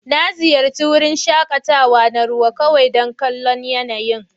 Na ziyarci wurin shakatawa na ruwa kawai don kallon yanayin.